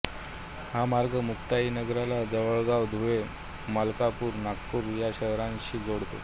हा मार्ग मुक्ताईनगरला जळगाव धुळे मलकापूर नागपूर या शहरांशी जोडतो